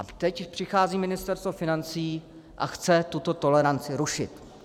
A teď přichází Ministerstvo financí a chce tuto toleranci rušit.